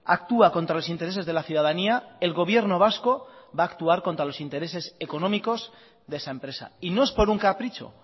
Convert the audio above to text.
actúa contra los intereses de la ciudadanía el gobierno vasco va a actuar contra los interese económicos de esa empresa y no es por un capricho